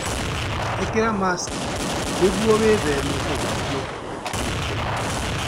Ĩkĩra maciki nĩuo gwĩthema kũgwatio mĩrimũ.